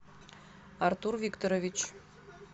артур викторович